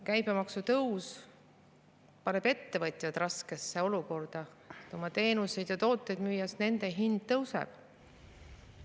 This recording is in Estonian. Käibemaksu tõus paneb ettevõtjad raskesse olukorda müües oma teenuseid ja tooteid, sest nende hind tõuseb.